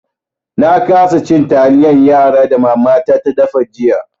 Na kasa cin taliyan yara da matata da fa jiya.